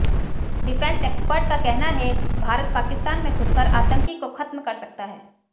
defence expert का कहना है भारत पाकिस्तान में घुसकर आतंकी को खत्म कर सकता है